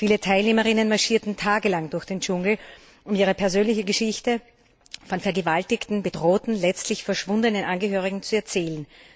Viele Teilnehmerinnen marschierten tagelang durch den Dschungel, um ihre persönliche Geschichte von vergewaltigten, bedrohten, letztlich verschwundenen Angehörigen zu erzählen.